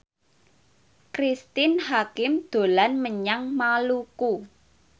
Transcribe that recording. Cristine Hakim dolan menyang Maluku